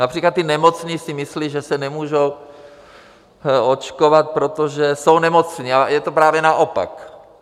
Například ti nemocní si myslí, že se nemůžou očkovat, protože jsou nemocní, ale je to právě naopak.